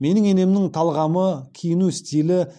менің енемнің талғамы киіну стилі